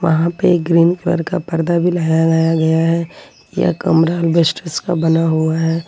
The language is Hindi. वहां पे एक ग्रीन कलर का पर्दा भी लगाया गया है यह कमरा अल्बेस्टस बना हुआ है।